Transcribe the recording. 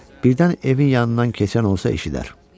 Birdən evin yanından keçən olsa eşidər.